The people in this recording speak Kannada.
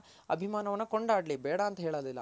ಅಭಿಮಾನವನ ಕೊಂಡಾಡ್ಲಿ ಬೇಡ ಅಂತ ಹೇಳೋದಿಲ್ಲ